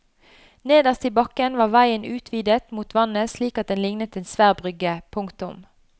Nederst i bakken var veien utvidet mot vannet slik at den lignet en svær brygge. punktum